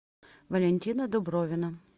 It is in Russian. валентина дубровина